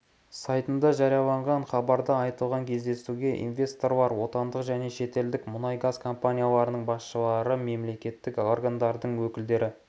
сайтында жарияланған хабарда айтылғандай кездесуге инвесторлар отандық және шетелдік мұнай-газ компанияларының басшылары мемлекеттік органдардың өкілдері